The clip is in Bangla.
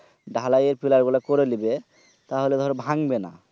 ঢালাইয়ের পিলার গুলা করে লিবে তাহলে ধরো ভাঙবে না